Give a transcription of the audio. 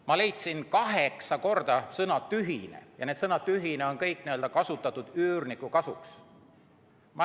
Ma leidsin kaheksa korda sõna "tühine" ja iga kord on seda kasutatud üürnike huvides.